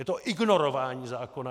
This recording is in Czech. Je to ignorování zákona.